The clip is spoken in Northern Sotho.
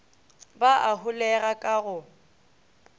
ba a holega ka go